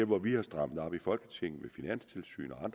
hvor vi har strammet op i folketinget med finanstilsyn og